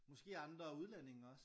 Måske andre udlændinge også